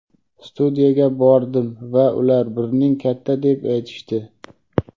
"Studiyaga bordim va ular burning katta deb aytishdi".